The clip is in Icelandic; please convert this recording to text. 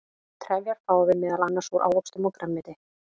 trefjar fáum við meðal annars úr ávöxtum og grænmeti